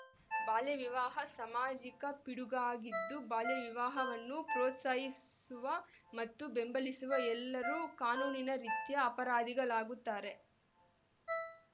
ಬಾಲ್ಯವಿವಾಹ ಸಾಮಾಜಿಕ ಪಿಡುಗಾಗಿದ್ದು ಬಾಲ್ಯವಿವಾಹವನ್ನು ಪ್ರೋತ್ಸಾಹಿಸುವ ಮತ್ತು ಬೆಂಬಲಿಸುವ ಎಲ್ಲರೂ ಕಾನೂನಿನ ರೀತ್ಯಾ ಅಪರಾಧಿಗಳಾಗುತ್ತಾರೆ